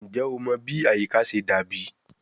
Njẹ o mọ bi ayika ṣe dabi?